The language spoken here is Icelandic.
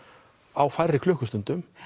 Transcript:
á færri klukkustundum